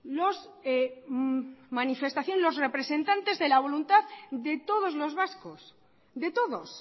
los representantes de la voluntad de todos los vascos de todos